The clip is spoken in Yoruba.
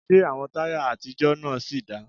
Ṣé àwọn táyà àtijọ́ náà sì dáa?